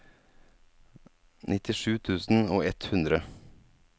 nittisju tusen og ett hundre